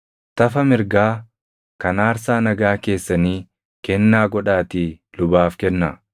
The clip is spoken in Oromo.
Tafa mirgaa kan aarsaa nagaa keessanii kennaa godhaatii lubaaf kennaa.